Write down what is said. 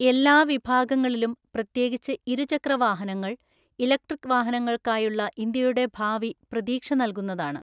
എല്ലാ വിഭാഗങ്ങളിലും, പ്രത്യേകിച്ച് ഇരുചക്രവാഹനങ്ങൾ, ഇലക്ട്രിക് വാഹനങ്ങൾക്കായുള്ള ഇന്ത്യയുടെ ഭാവി പ്രതീക്ഷ നൽകുന്നതാണ്.